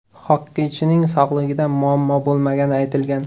Xokkeychining sog‘lig‘ida muammo bo‘lmagani aytilgan.